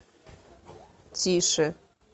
тише